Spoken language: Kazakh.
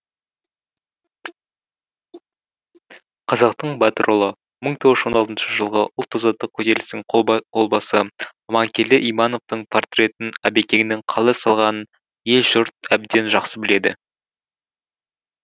қазақтың батыр ұлы мың тоғыз жүз он алтыншы жылғы ұлт азаттық көтерілістің қолбасы аманкелді имановтың портретін әбекеңнің қалай салғанын ел жұрт әбден жақсы біледі